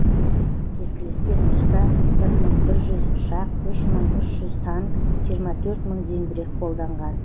кескілескен ұрыста бір мың бір жүз ұшақ үш мың үш жүз танк жиырма төрт мың зеңбірек қолданған